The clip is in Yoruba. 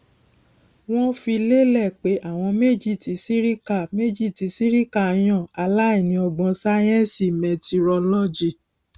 wọn fi lélẹ pé àwọn méjì tí sirika méjì tí sirika yàn aláìní ọgbọn sáyẹńsì mẹtirolọgì